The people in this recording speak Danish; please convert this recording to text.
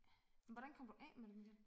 Men hvordan kom du af med dem igen?